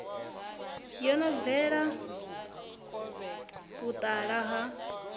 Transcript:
yo no bveledza vhutala ha